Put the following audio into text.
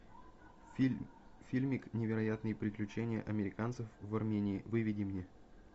фильм фильмик невероятные приключения американцев в армении выведи мне